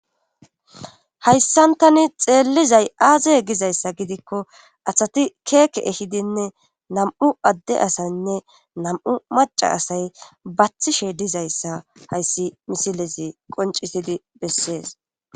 hayssan tani xeellizay aaze gizayssa gidikko athati keeke ehidinne nam'u adde asaynne nam7u maca asay bathishe dizayssa hayssi misilezi qoncisidi bessees